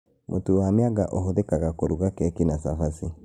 Mũtu wa mĩanga ũhũthĩkaga kũruga keki na cabaci